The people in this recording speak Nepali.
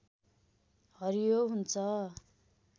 हरियो हुन्छ